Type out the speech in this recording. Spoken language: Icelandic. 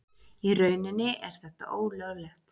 Í rauninni er þetta ólöglegt.